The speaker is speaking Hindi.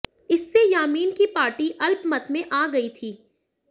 इससे यामीन की पार्टी अल्पमत में आ गई थी